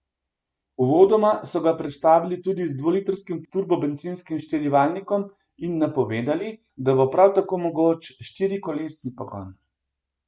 Uvodoma so ga predstavili tudi z dvolitrskim turbobencinskim štirivaljnikom in napovedali, da bo prav tako mogoč štirikolesni pogon.